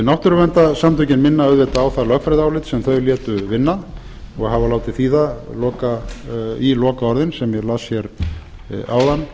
náttúruverndarsamtökin minna auðvitað á það lögfræðiálit sem þau létu vinna og hafa látið þýða í lokaorðin sem ég las hér áðan